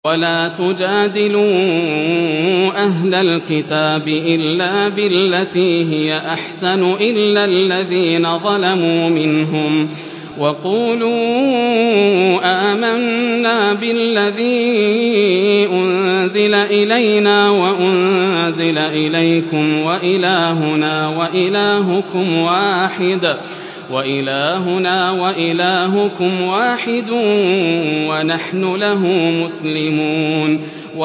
۞ وَلَا تُجَادِلُوا أَهْلَ الْكِتَابِ إِلَّا بِالَّتِي هِيَ أَحْسَنُ إِلَّا الَّذِينَ ظَلَمُوا مِنْهُمْ ۖ وَقُولُوا آمَنَّا بِالَّذِي أُنزِلَ إِلَيْنَا وَأُنزِلَ إِلَيْكُمْ وَإِلَٰهُنَا وَإِلَٰهُكُمْ وَاحِدٌ وَنَحْنُ لَهُ مُسْلِمُونَ